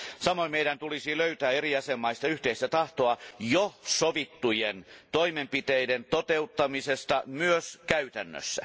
Samoin meidän tulisi löytää eri jäsenvaltioista yhteistä tahtoa jo sovittujen toimenpiteiden toteuttamisesta myös käytännössä.